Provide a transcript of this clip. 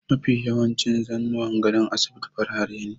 Mafi yawancin zannuwan gadon asibiti farare ne.